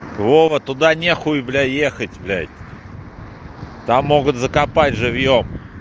вова туда нехуй бля ехать блять там могут закопать живьём